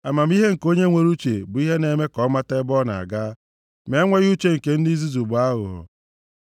Amamihe nke onye nwere uche bụ ihe na-eme ka ọ mata ebe ọ na-aga, ma enweghị uche nke ndị nzuzu bụ aghụghọ.